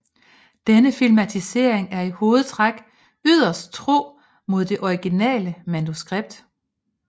Denne filmatisering er i hovedtræk yderst tro mod det originale manuskript